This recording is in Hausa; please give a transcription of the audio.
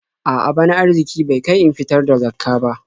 A'a, bana arziƙi bai kai in fitar da Zakkah ba.